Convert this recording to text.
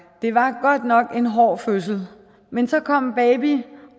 det var godt nok en hård fødsel men så kom baby